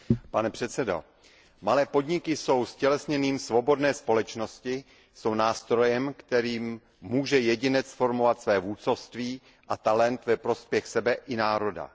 Pane předsedající, malé podniky jsou ztělesněním svobodné společnosti, jsou nástrojem, kterým může jedinec formovat své vůdcovství a talent ve prospěch sebe i národa.